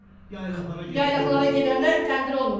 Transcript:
Yaylaqlara gedəndə təndir olmurdu.